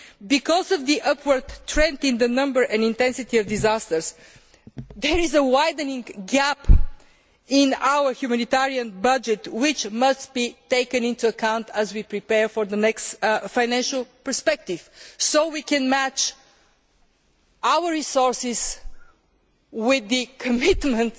September. Because of the upward trend in the number and intensity of disasters, there is a widening gap in our humanitarian budget which must be taken into account as we prepare for the next Financial Perspective so we can match our resources to our citizens'